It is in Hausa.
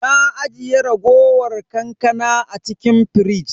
Na ajiye raguwar kankana a cikin firij.